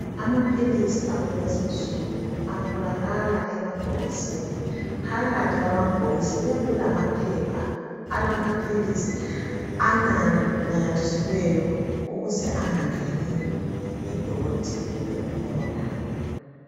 Amaphilisi akulezi insuku atholakala emabhokisini. Phakathi kwamabhokisi kuyabe kulamaphepha alamaphilisi ananyathiselweyo ukuze angangeni idoti kumbe umoya.